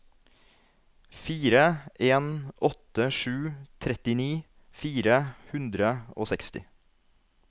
fire en åtte sju trettini fire hundre og seksti